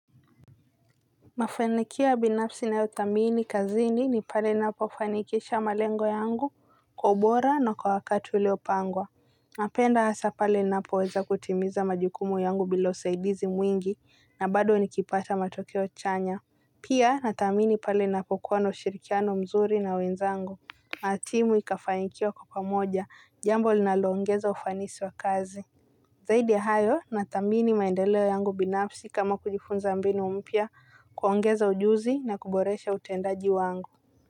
Mafanikio ya binafsi ninayothamini kazini ni pale ninapofanikisha malengo yangu kwa ubora na kwa wakati uliopangwa. Napenda hasa pale napoweza kutimiza majukumu yangu bila usaidizi mwingi na bado nikipata matokeo chanya. Pia nathamini pale napokuwa na ushirikiano mzuri na wenzangu. Matimu ikafanikiwa kwa pamoja jambo linaloongeza ufanisi wa kazi. Zaidi ya hayo nathamini maendeleo yangu binafsi kama kujifunza mbinu mpya. Kuongeza ujuzi na kuboresha utendaji wangu.